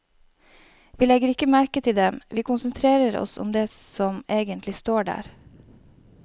Vi legger ikke merke til dem, vi konsentrerer oss om det som egentlig står der.